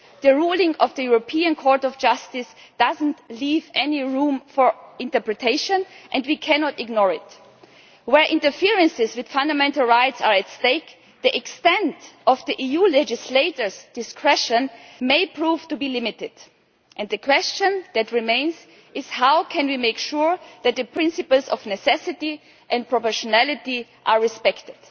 The ruling of the European Court of Justice does not leave any room for interpretation and we cannot ignore it. Where interferences with fundamental rights are at stake, the extent of the EU legislators' discretion may prove to be limited. And the question that remains is how can we make sure that the principles of necessity and proportionality are respected?